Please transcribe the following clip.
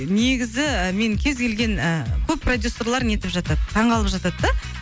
негізі мен кез келген ы көп продюссерлер нетіп жатады таң қалып жатады да